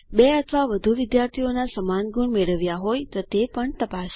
બે અથવા વધુ વિદ્યાર્થીઓ સમાન ગુણ મેળવ્યા હોય તે પણ તપાસો